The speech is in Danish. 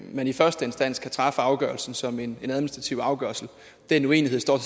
man i første instans kan træffe afgørelsen som en administrativ afgørelse den uenighed står